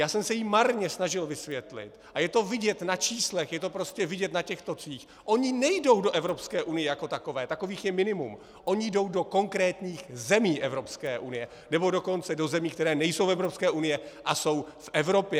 Já jsem se jí marně snažil vysvětlit, a je to vidět na číslech, je to prostě vidět na těch tocích, oni nejdou do Evropské unie jako takové, takových je minimum, oni jdou do konkrétních zemí Evropské unie, nebo dokonce do zemí, které nejsou v Evropské unii a jsou v Evropě.